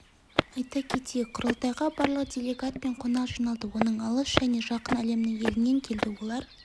айта кетейік құрылтайға барлығы делегат пен қонақ жиналды оның алыс және жақын әлемнің елінен келді олар